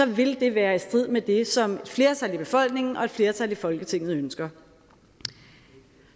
ville det være i strid med det som et flertal i befolkningen og et flertal i folketinget ønsker